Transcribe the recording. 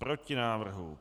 Proti návrhu.